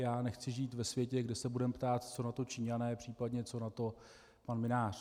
Já nechci žít ve světě, kde se budeme ptát, co na to Číňané, případně co na to pan Mynář.